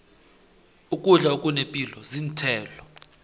ukudla okunepilo zinthelo